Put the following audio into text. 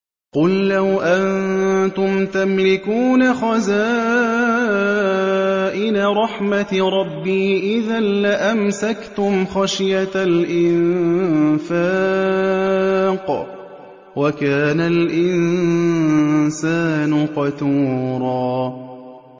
قُل لَّوْ أَنتُمْ تَمْلِكُونَ خَزَائِنَ رَحْمَةِ رَبِّي إِذًا لَّأَمْسَكْتُمْ خَشْيَةَ الْإِنفَاقِ ۚ وَكَانَ الْإِنسَانُ قَتُورًا